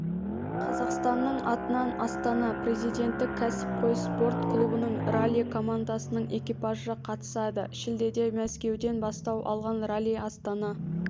қазақстанның атынан астана президенттік кәсіпқой спорт клубының ралли-командасының экипажы қатысады шілдеде мәскеуден бастау алған ралли астана